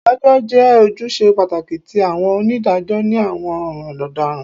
Idajọ jẹ ojuṣe pataki ti awọn onidajọ ni awọn ọran ọdaràn